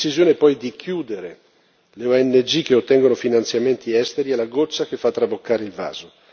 La decisione poi di chiudere le ONG che ottengono finanziamenti esteri è la goccia che fa traboccare il vaso.